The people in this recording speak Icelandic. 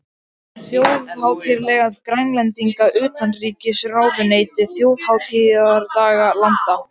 Um þjóðhátíðardag Grænlendinga Utanríkisráðuneytið þjóðhátíðardagar landa